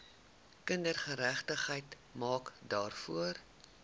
kindergeregtigheid maak daarvoor